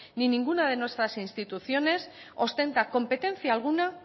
ni ninguna de nuestras instituciones ostenta competencia alguna